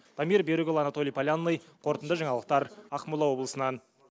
дамир берікұлы анатолий полянный қорытынды жаңалықтар ақмола облысынан